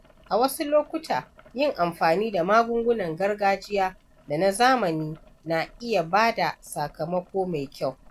A wasu lokuta, yin amfani da magungunan gargajiya da na zamani na iya bada sakamako mai kyau.